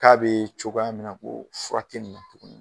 K'a bɛ cogoya min na ko o furakɛli tuguni